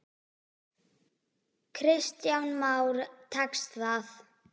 Kristján Már: Tekst það?